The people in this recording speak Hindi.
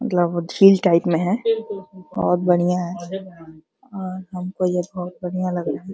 मतलब झील टाइप में है। बहोत बढियाँ है और हमको ये बहोत बढियाँ लग है।